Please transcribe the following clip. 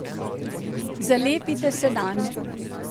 Zalepite se nanj.